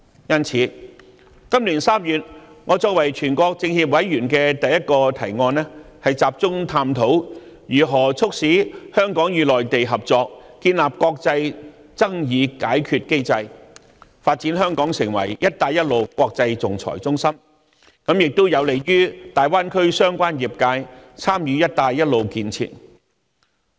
因此，今年3月，我作為全國政協委員的第一個提案，便是集中探討如何促使香港與內地合作，建立國際爭議解決機制，發展香港成為"一帶一路"國際仲裁中心，亦有利於大灣區相關業界參與"一帶一路"的建設。